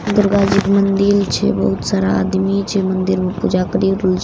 दुर्गा जी के मंदिर छे बहुत सारा आदमी छे मंदिर में पूजा करि रहल छै मेला --